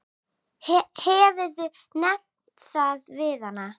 Hefurðu nefnt það við hana?